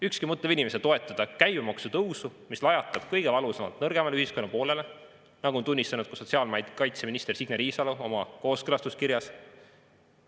Ükski mõtlev inimene ei saa toetada käibemaksu tõusu, mis lajatab kõige valusamalt nõrgemale ühiskonna poolele, nagu on tunnistanud ka sotsiaalkaitseminister Signe Riisalo oma kooskõlastuskirjas.